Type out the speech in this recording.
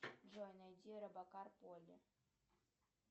джой найди робокар полли